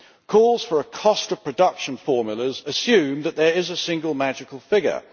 Calls for a cost of production formula assume that there is a single magical figure.